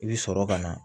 I bi sɔrɔ ka na